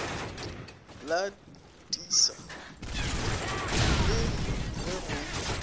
la tissa le ge go